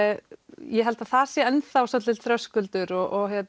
ég held að það sé ennþá svolítill þröskuldur og